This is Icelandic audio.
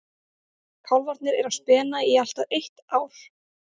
Kálfarnir eru á spena í allt að eitt ár.